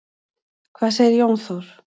Hvað segir Jón Þór?